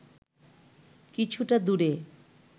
কিছুটা দূরে